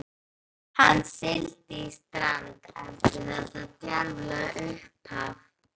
Hann sigldi í strand eftir þetta djarflega upphaf.